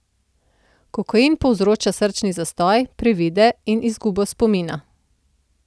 Kokain povzroča srčni zastoj, privide in izgubo spomina.